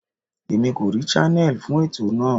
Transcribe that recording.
Èmi kò rí channel fún ètò náà.